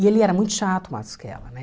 E ele era muito chato, o Matusquela, né.